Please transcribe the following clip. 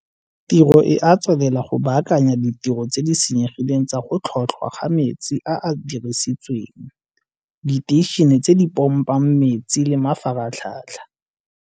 Tiro e a tswelela go baakanya ditiro tse di senyegileng tsa go tlhotlhwa ga metsi a a dirisitsweng, diteišene tse di pompang metsi le mafaratlhatlha.